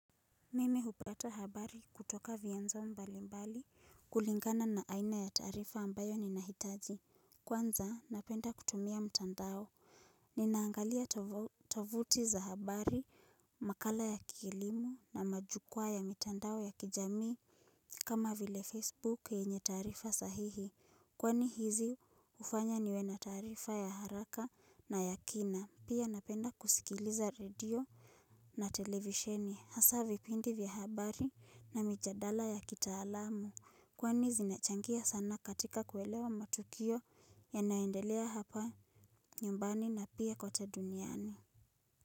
Mimi hupata habari kutoka vienzo mbali mbali kulingana na aina ya taarifa ambayo ninahitaji. Kwanza napenda kutumia mtandao. Ninaangalia tovuti za habari, makala ya kielimu na majukwaa ya mitandao ya kijamii. Kama vile Facebook yenye taarifa sahihi kwani hizi ufanya niwe na taarifa ya haraka na ya kina. Pia napenda kusikiliza radio na televisheni. Hasa vipindi vya habari na mijadala ya kitaalamu kwani zinachangia sana katika kuelewa matukio yanaendelea hapa nyumbani na pia kwote duniani.